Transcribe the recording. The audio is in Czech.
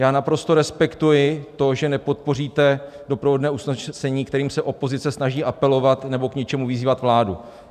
Já naprosto respektuji to, že nepodpoříte doprovodné usnesení, kterým se opozice snaží apelovat nebo k něčemu vyzývat vládu.